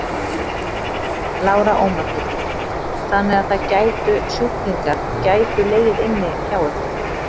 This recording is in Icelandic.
Lára Ómarsdóttir: Þannig að það gætu sjúklingar gætu legið inni hjá ykkur?